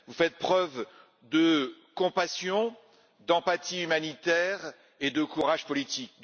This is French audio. Vous faites preuve de compassion, d'empathie humanitaire et de courage politique.